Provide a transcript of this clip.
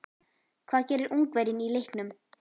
Hvað gerir Ungverjinn í leiknum?